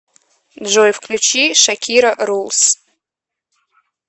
джой включи шакира рулс